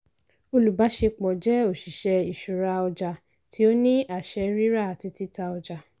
olùbáṣepọ̀ jẹ́ óṣìṣẹ́ ìṣúra ọjà tí ó ní àṣẹ rírà àti títà ọjà.